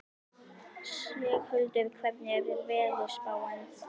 Sigurhildur, hvernig er veðurspáin?